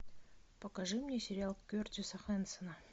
покажи мне сериал кертиса хэнсона